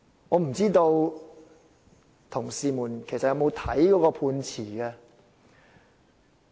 我不知道同事們有否閱讀判詞。